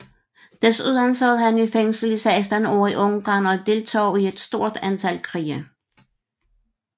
Desuden sad han i fængsel i 16 år i Ungarn og deltog i et stort antal krige